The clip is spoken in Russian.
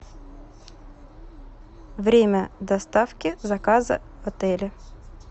время доставки заказа в отеле